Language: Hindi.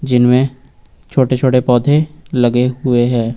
इनमे छोटे छोटे पौधे लगे हुए है।